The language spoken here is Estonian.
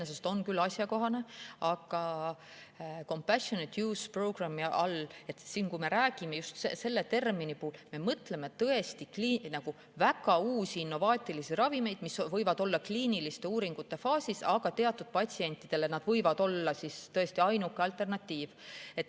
Iseenesest on küll asjakohane, aga compassionate use programme'i all, just selle termini puhul me mõtleme tõesti väga uusi innovaatilisi ravimeid, mis võivad olla kliiniliste uuringute faasis, aga teatud patsientidele nad võivad olla tõesti ainuke alternatiiv.